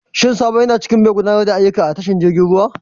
Shin Sabo yana cikin mai gudanar da ayyuka a tashar jiragen ruwa?